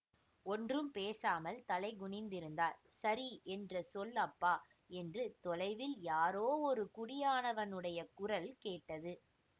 ஒன்றும் பேசாமல் தலை குனிந்திருந்தார் சரி என்று சொல் அப்பா என்று தொலைவில் யாரோ ஒரு குடியானவனுடைய குரல் கேட்டது